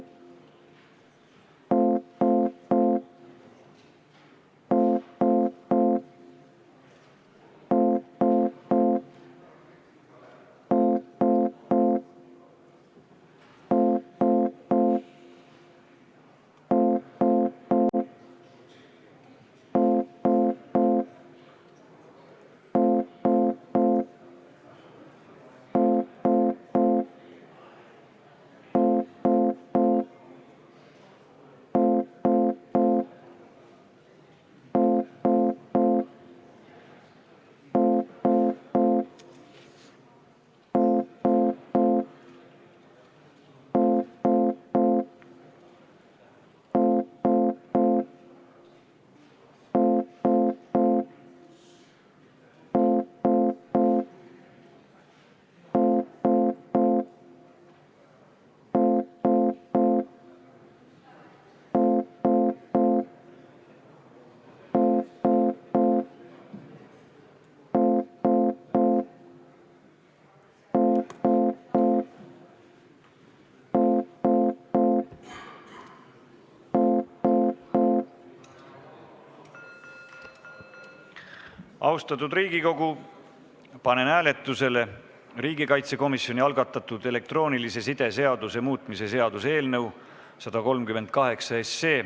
Austatud Riigikogu, panen hääletusele riigikaitsekomisjoni algatatud elektroonilise side seaduse muutmise seaduse eelnõu 138.